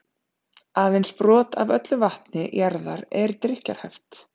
aðeins örlítið brot af öllu vatni jarðar er drykkjarhæft